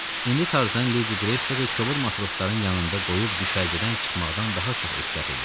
İndi Tarzan ledi Greystokı kobud matrosların yanında qoyub düşərgədən çıxmaqdan daha çox ehtiyat edirdi.